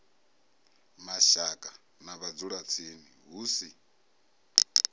mashaka na vhadzulatsini hu si